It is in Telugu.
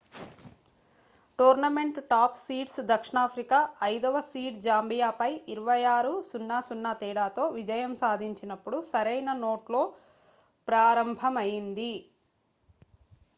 టోర్నమెంట్ టాప్ సీడ్స్ దక్షిణాఫ్రికా 5వ సీడ్ జాంబియాపై 26 - 00 తేడాతో విజయం సాధించినప్పుడు సరైన నోట్లో ప్రారంభమైంది